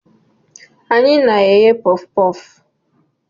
Anyị na-eghe puff puff.